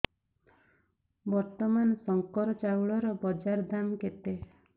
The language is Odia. ବର୍ତ୍ତମାନ ଶଙ୍କର ଚାଉଳର ବଜାର ଦାମ୍ କେତେ